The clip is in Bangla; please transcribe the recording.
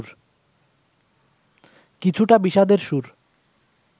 কিছুটা বিষাদের সুর